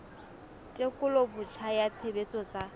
tekolo botjha ya tshebetso tsa